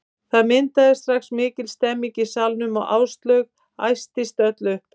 Það myndaðist strax mikil stemning í salnum og Áslaug æstist öll upp.